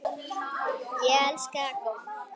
Ég elska golf.